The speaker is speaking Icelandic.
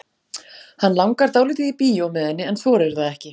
Hann langar dálítið í bíó með henni en þorir það ekki.